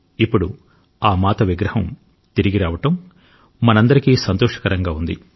ఇప్పుడు ఆ మాత విగ్రహం తిరిగి రావడం మనందరికీ సంతోషకరంగా ఉంది